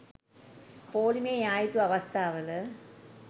පෝලිමේ යා යුතු අවස්ථාවල